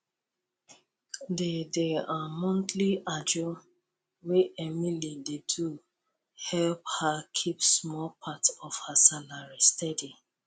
di di um monthly ajo wey emily dey do help her keep small part of her salary steady